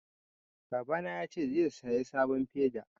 Babana ya ce zai saya sabon feda